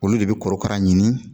Olu de bɛ korokara ɲini